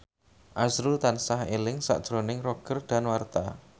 azrul tansah eling sakjroning Roger Danuarta